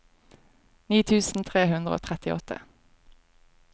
ni tusen tre hundre og trettiåtte